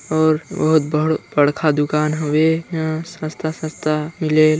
और बहुत बड़ बढ़खा दुकान हवे इहा सस्ता-सस्ता मिलेल।